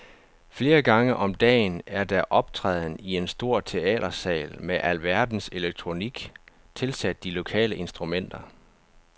Flere gange om dagen er der optræden i en stor teatersal med alverdens elektronik tilsat de lokale instrumenter.